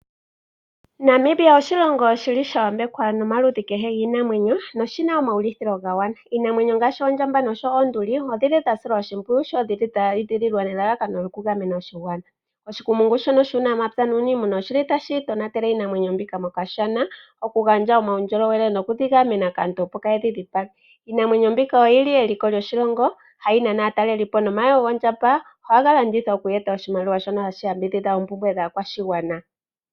Namibia oshilongo shi li sha yambekwa nomaludhi kehe giinamwenyo noshi na omaulithilo ga gwana. Iinamwenyo ngaashi oondjamba noshowo oonduli odhi li dha silwa oshimpwiyu, sho dhi li dha edhililwa nelalakano lyokugamena oshigwana. Oshikumungu shono shuunamapya nuuniimuna oshi li tashi tonatele iinamwenyo mbika mOkashana okugandja omaundjolowele nokudhi gamena kaantu opo kaaye dhi dhipage. Iinamwenyo mbika oyi li eliko lyoshilongo hayi nana aatalelipo nomayego gondjamba ohaga landithwa oku eta oshimaliwa shono hashi yambidhidha oompumbwe dhaakwashigwana.